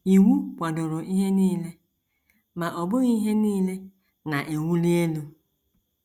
Iwu kwadoro ihe nile; ma ọ bụghị ihe nile na - ewuli elu.